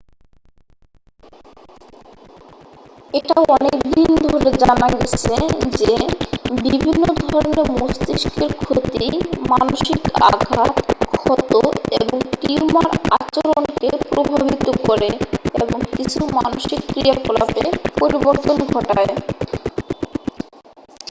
এটা অনেক দিন ধরে জানা গেছে যে বিভিন্ন ধরনের মস্তিষ্কের ক্ষতি মানসিক আঘাত ক্ষত এবং টিউমার আচরণকে প্রভাবিত করে এবং কিছু মানসিক ক্রিয়াকলাপে পরিবর্তন ঘটায়